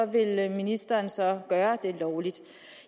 ville ministeren så gøre det lovligt